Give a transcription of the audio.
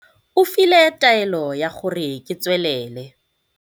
o file taelo ya gore ke tswelele